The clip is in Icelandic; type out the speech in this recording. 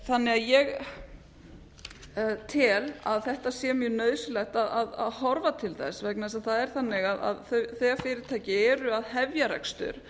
þannig að ég tel að þetta sé mjög nauðsynlegt að horfa til þess vegna þess að það er þannig að þegar fyrirtæki eru að hefja rekstur